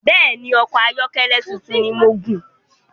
Bẹ́ẹ̀ni, ọkọ ayọ́kẹ́lẹ̀ tuntun ni mò ń gùn